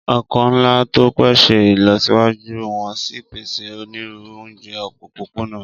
Ọkọ̀ ńlá tó ń pèsè ìlọsíwájú wọ́n sì ń pèsè onírúurú oúnjẹ òpópónà.